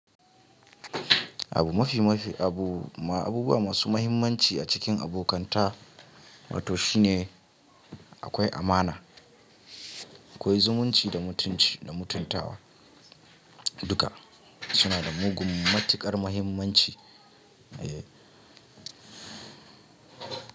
Abu mafi mafi abu abubuwa masu muhimmanci a cikin abokanta wato shine akwai amana, akwai zumunci da mutunci da mutuntawa. Duka suna da mugun matuƙar muhimmanci.